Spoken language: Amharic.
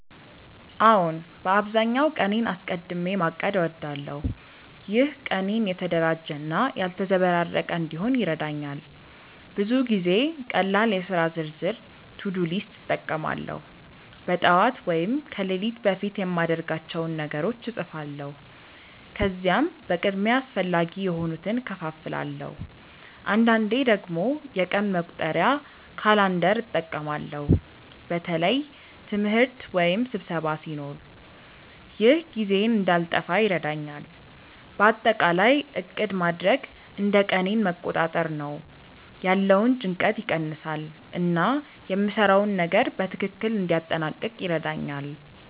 አዎን፣ በአብዛኛው ቀኔን አስቀድሚ ማቀድ እወዳለሁ። ይህ ቀኔን የተደራጀ እና ያልተዘበራረቀ እንዲሆን ይረዳኛል። ብዙ ጊዜ ቀላል የሥራ ዝርዝር (to-do list) እጠቀማለሁ። በጠዋት ወይም ከሌሊት በፊት የማድርጋቸውን ነገሮች እጻፋለሁ፣ ከዚያም በቅድሚያ አስፈላጊ የሆኑትን እከፋፍላለሁ። አንዳንዴ ደግሞ የቀን መቁጠሪያ (calendar) እጠቀማለሁ በተለይ ትምህርት ወይም ስብሰባ ሲኖር። ይህ ጊዜዬን እንዳልጠፋ ይረዳኛል። በአጠቃላይ ዕቅድ ማድረግ እንደ ቀኔን መቆጣጠር ነው፤ ያለውን ጭንቀት ይቀንሳል እና የምሰራውን ነገር በትክክል እንዲያጠናቅቅ ይረዳኛል።